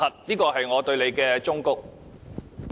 這是我對你的忠告。